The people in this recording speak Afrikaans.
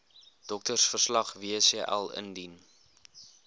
doktersverslag wcl indien